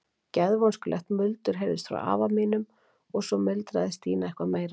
Geðvonskulegt muldur heyrðist frá afa mínum og svo muldraði Stína eitthvað meira.